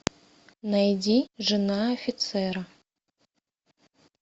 найди жена офицера